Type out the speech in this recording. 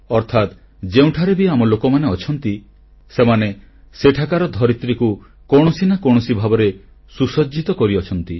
ଅର୍ଥାତ ଯିଏ ଯେଉଁଠାରେ ବି ଆମ ଲୋକମାନେ ଅଛନ୍ତି ସେମାନେ ସେଠାକାର ଧରିତ୍ରୀକୁ କୌଣସି ନା କୌଣସି ଭାବରେ ସୁସଜ୍ଜିତ କରିଆସୁଛନ୍ତି